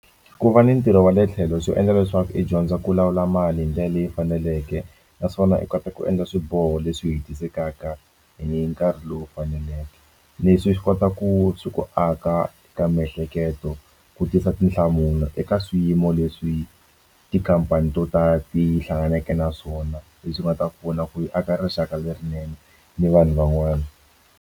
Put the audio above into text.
Ku va ni ntirho wa le tlhelo swi endla leswaku i dyondzo ku lawula mali hi ndlela leyi faneleke naswona i kota ku endla swiboho leswi hisekaka hi nkarhi lowu faneleke leswi swi kota ku swi ku aka ka miehleketo ku tisa tinhlamulo eka swiyimo leswi tikhampani to tala ti hlanganeke na swona leswi nga ta kona ku aka rixaka lerinene ni vanhu van'wana.